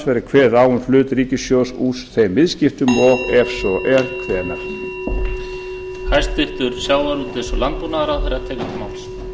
verði kveðið á um hlut ríkissjóðs úr þeim viðskiptum og ef svo er hvenær